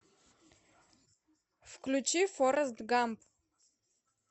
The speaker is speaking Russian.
включи форрест гамп